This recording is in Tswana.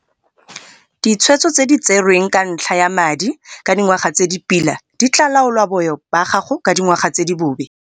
Ditshwetso tse di tserweng ka ntlha ya madi ka dingwaga tse di pila di tlaa laola boyo ba gago ka dingwaga tse di bobe.